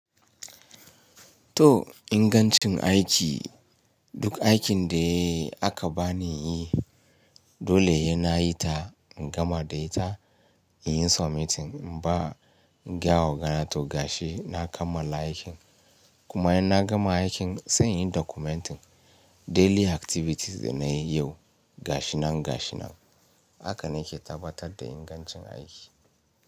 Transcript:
To ingancin aiki, duk aikin da aka bani yi dole ne na yi ta in gama da ita, in yi submitting in ba, in gayawa oga na to gashi na kammala aikin. Kuma in na gama aikin sai in yi documenting daily activities da na yi yau gashi nan gashi nan. Haka na ke tabbatar da ingancin aiki.